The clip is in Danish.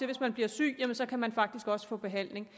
hvis man bliver syg kan man faktisk også få behandling